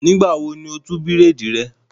Nígbà wo ni o tú bírèèdì rẹ?